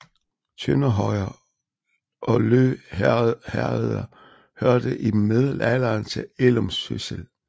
Tønder Højer og Lø Herreder hørte i middelalderen til Ellumsyssel